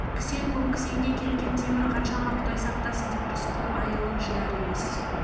кісен көп кісенге кеткен темір қаншама құдай сақтасын деп рысқұл айылын жияр емес